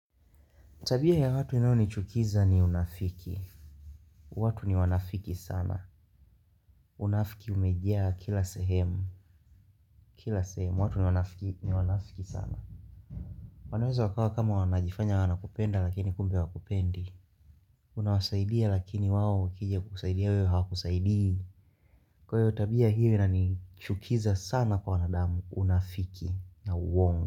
Tabia ya watu inayonichukiza ni unafiki watu ni wanafiki sana Unafiki umejaa kila sehemu Kila sehemu, watu ni wanafiki sana wanaweza kaa kama wanajifanya wanakupenda lakini kumbe hawakupendi Unawasaidia lakini wao wakija kusaidia wewe hawakusaidii Kwa hivyo tabia hili linanichukiza sana kwa wanadamu Unafiki na uongo.